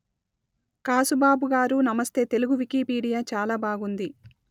కాసుబాబు గారూ నమస్తే తెలుగు వికిపీడియా చాలా బాగుంది